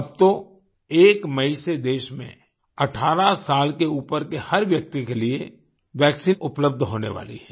अब तो 1 मई से देश में 18 साल के ऊपर के हर व्यक्ति के लिए वैक्सीन उपलब्ध होने वाली है